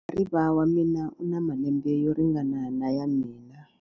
Muhariva wa mina u na malembe yo ringana na ya mina.